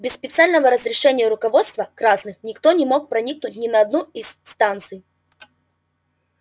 без специального разрешения руководства красных никто не мог проникнуть ни на одну из их станций